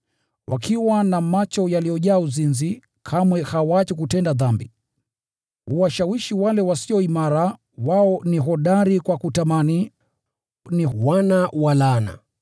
Wakiwa na macho yaliyojaa uzinzi, kamwe hawaachi kutenda dhambi. Huwashawishi wale wasio imara. Wao ni hodari kwa kutamani; ni wana wa laana!